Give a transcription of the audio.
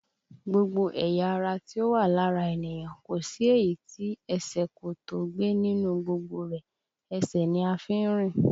Gbogbo ẹ̀yà ara tí ó wà lára ènìyàn, kò sí èyí tí ẹsẹ̀ kò tó ó gbé nínú gbogbo rẹ̀, ẹsẹ̀ ni a fi ń rìn